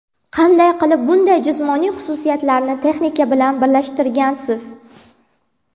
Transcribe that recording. Qanday qilib bunday jismoniy xususiyatlarni texnika bilan birlashtirgansiz?